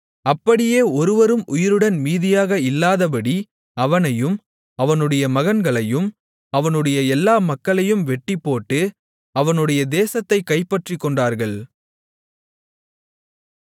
அப்படியே ஒருவரும் உயிருடன் மீதியாக இல்லாதபடி அவனையும் அவனுடைய மகன்களையும் அவனுடைய எல்லா மக்களையும் வெட்டிப்போட்டு அவனுடைய தேசத்தைக் கைப்பற்றிக்கொண்டார்கள்